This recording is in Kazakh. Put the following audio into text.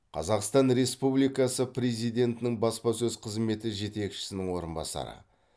қазақстан республикасы президентінің баспасөз қызметі жетекшісінің орынбасары